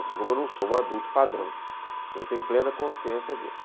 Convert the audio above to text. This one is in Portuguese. assim como eu não sou um adulto padrão, eu tenho plena consciência disso.